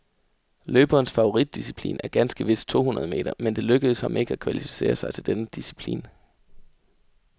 Løberens favoritdisciplin er ganske vist to hundrede meter, men det lykkedes ham ikke at kvalificere sig til denne disciplin.